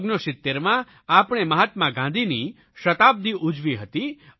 1969માં આપણે મહાત્મા ગાંધીની શતાબ્દિ ઉજવી હતી